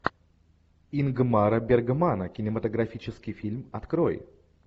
ингмара бергмана кинематографический фильм открой